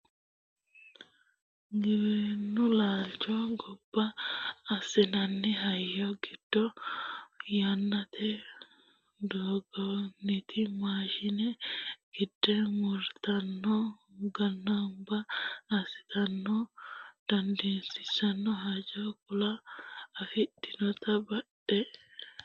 giwirinnu laalcho ganba assinanni hayyo giddo yannate dagginoti maashine gide murtannanna ganba assitanni no danaseno haanja kuula afidhinote badheseenni haqqeno no yaate